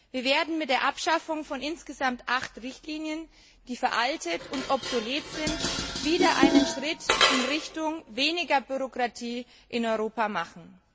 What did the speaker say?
Wir werden mit der Abschaffung von insgesamt acht Richtlinien, die veraltet und obsolet sind, wieder einen Schritt in Richtung weniger Bürokratie in Europa machen.